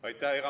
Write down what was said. Aitäh!